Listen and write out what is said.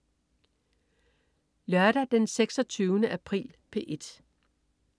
Lørdag den 26. april - P1: